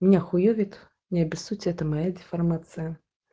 меня хуёвит не обессудьте это моя деформация